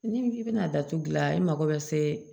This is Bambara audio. Ni i bɛna datugu gilan i mako bɛ se